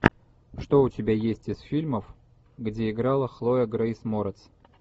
что у тебя есть из фильмов где играла хлоя грейс морец